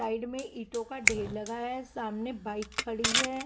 Side में ईंटों का ढेर लगाया है सामने बाइक खड़ी है।